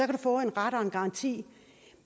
du få en ret og en garanti